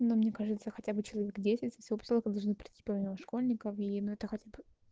но мне кажется хотя бы человек десять со всего посёлка должны прийти помимо школьников и ну это хотя б